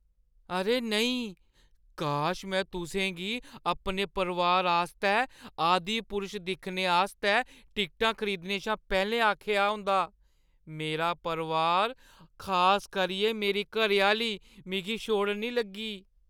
अरे नेईं! काश में तुसें गी अपने परोआर आस्तै "आदिपुरुष" दिक्खने आस्तै टिकटां खरीदने शा पैह्‌लें आखेआ होंदा। मेरा परोआर, खास करियै मेरी घरैआह्‌ली मिगी छोड़न निं लगी।